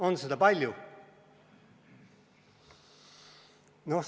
On seda palju?